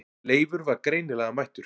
Leifur var greinilega mættur.